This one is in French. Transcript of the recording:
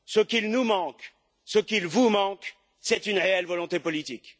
Ce qu'il nous manque, ce qu'il vous manque, c'est une réelle volonté politique.